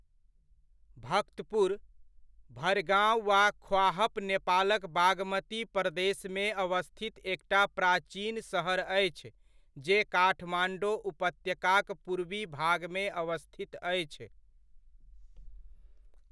भक्तपुर, भड़गांव वा ख्वाहप नेपालक बागमती प्रदेशमे अवस्थित एकटा प्राचीन सहर अछि जे काठमाण्डौ उपत्यकाक पूर्वी भागमे अवस्थित अछि।